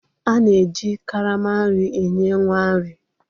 A na-eji karama nri enye nwa nri.